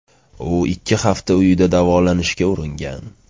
U ikki hafta uyida davolanishga uringan.